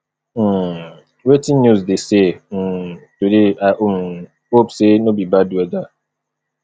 um wetin news dey say um today i um hope sey no be bad weather